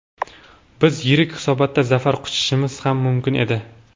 Biz yirik hisobda zafar quchishimiz ham mumkin edi.